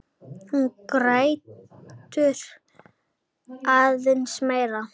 Hún grætur aðeins meira.